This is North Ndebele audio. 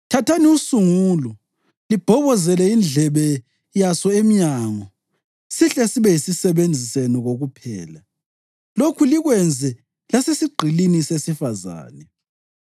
thathani usungulo libhobozele indlebe yaso emnyango, sihle sibe yisisebenzi senu kokuphela. Lokhu likwenze lasesigqilini sesifazane.